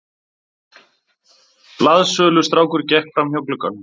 Blaðsölustrákur gekk framhjá glugganum.